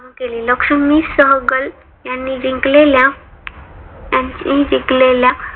केले. लक्ष्मी सहगल यांनी जिंकलेल्या यांनी जिंकलेल्या